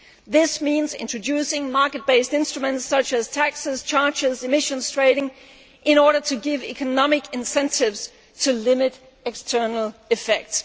This means introducing market based instruments such as taxes, charges and emission trading, in order to give economic incentives to limit external effects.